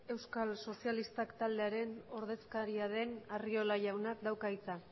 euskal sozialistak taldearen ordezkaria den arriola jaunak dauka hitza